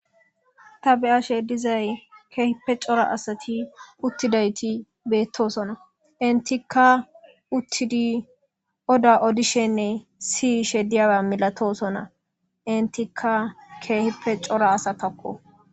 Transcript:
Ta be7ashe dizay keehippe cora asati uttidayti beettosona intika uttidi oda odishenne si shediyawa milatosona intika keehipe cora asataqo.